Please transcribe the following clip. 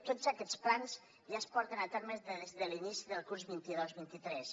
tots aquests plans ja es porten a terme des de l’inici del curs vint dos vint tres